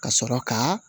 Ka sɔrɔ ka